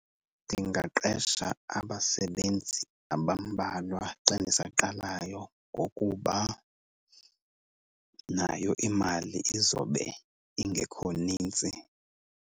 Ndingaqesha abasebenzi abambalwa xa ndisaqalayo ngokuba nayo imali izobe ingekho nintsi.